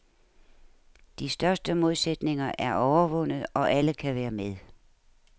De største modsætninger er overvundet og alle kan være med.